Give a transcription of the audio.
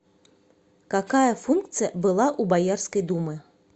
какая функция была у боярской думы